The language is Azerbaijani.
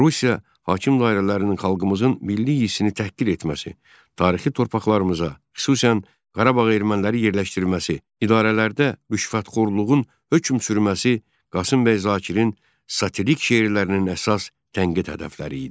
Rusiya hakim dairələrinin xalqımızın milli hissini təhqir etməsi, tarixi torpaqlarımıza, xüsusən Qarabağa erməniləri yerləşdirilməsi, idarələrdə rüşvətxorluğun hökm sürməsi Qasımbəy Zakirin satirik şeirlərinin əsas tənqid hədəfləri idi.